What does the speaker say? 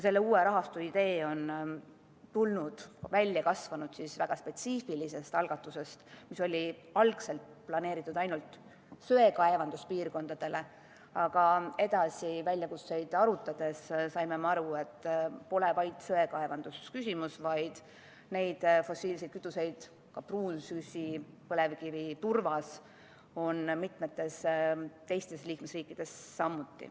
Selle uue rahastu idee on välja kasvanud väga spetsiifilisest algatusest, mis oli algselt planeeritud ainult söekaevanduspiirkondadele, aga edasi arutades saime me aru, et küsimus pole ainult söekaevandustes, vaid neid fossiilseid kütuseid – näiteks pruunsütt, põlevkivi ja turvast – on ka mitmetes teistes liikmesriikides.